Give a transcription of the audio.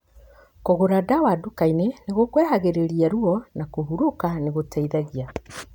Kũgũra dawa dukainĩ nĩ gũkweheragĩria ruo na kũhurũka nĩ gũteithagia